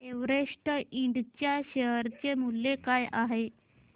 Everest इंड च्या share चे मूल्य काय आहे